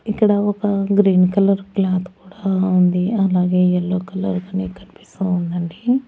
ఇక్కడ ఒక green colour cloth కూడా ఉంది అలాగే యెల్లో కలర్ కనీ కనిపిస్తా ఉందండి.